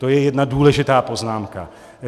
To je jedna důležitá poznámka.